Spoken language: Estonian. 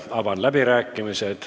Avan läbirääkimised.